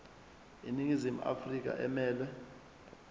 iningizimu afrika emelwe